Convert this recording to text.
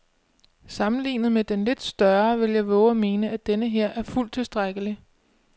Sammenlignet med den lidt større vil jeg vove at mene, at denneher er fuldt tilstrækkelig.